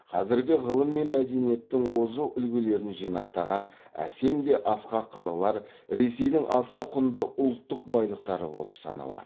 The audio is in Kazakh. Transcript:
қазіргі ғылым мен мәдениеттің озық үлгілерін жинақтаған әсем де асқақ қалалар ресейдің аса құнды ұлттық байлықтары болып саналады